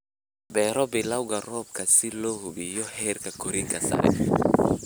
Beero bilowga roobka si loo hubiyo heerka korriinka sare.